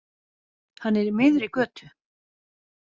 Hann er í miðri götu.